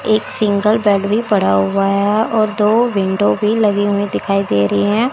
एक single bed भी पड़ा हुआ है और दो विंडो भी लगी हुई दिखाई दे रही है।